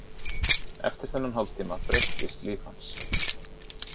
Eftir þennan hálftíma breyttist líf hans.